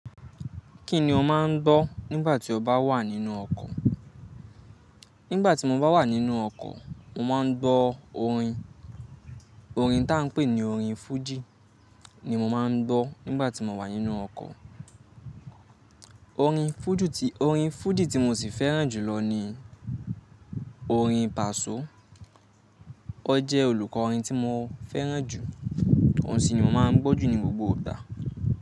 Kí ni o máa ń gbọ́ nígbà tí o bá wà nínú ọkọ̀? Nígbà tí mo bá wà nínú ọkọ̀, mo máa ń gbọ́ orin. Orin tá a ń pè ní orin fújì ni mo máa ń gbọ́ nígbà tí mo wà nínú ọkọ̀. Orin fújì tí mo sì fẹ́ràn jù lọ ni orin Paso. Ó jẹ́ olùkọ́ orin tí mo fẹ́ràn jù, òun sì ni mo máa ń gbọ́ jù ní gbogbo ìgbà.